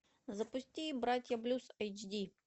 запусти братья блюз эйч ди